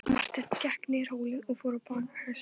Marteinn gekk niður hólinn og fór á bak hestinum.